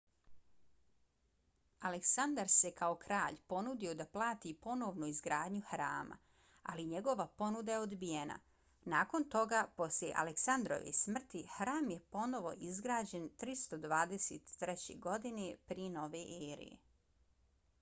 aleksandar se kao kralj ponudio da plati ponovnu izgradnju hrama ali njegova ponuda je odbijena. nakon toga posle aleksandrove smrti hram je ponovo izgrađen 323. godine prije nove ere